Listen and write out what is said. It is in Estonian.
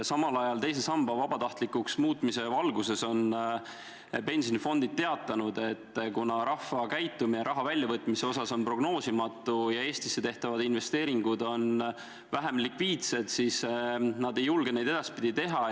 Samal ajal on teise samba vabatahtlikuks muutmise valguses pensionifondid teatanud, et kuna rahva käitumine raha väljavõtmise osas on prognoosimatu ja Eestisse tehtavad investeeringud on vähem likviidsed, siis nad ei julge neid edaspidi teha.